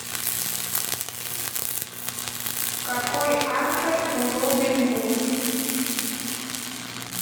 какой автор у робин гуд